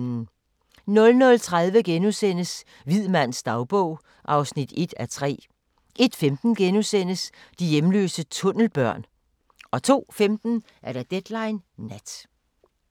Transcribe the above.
00:30: Hvid mands dagbog (1:3)* 01:15: De hjemløse tunnelbørn * 02:15: Deadline Nat